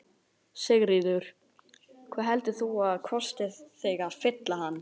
Sigríður: Hvað heldur þú að kosti þig að fylla hann?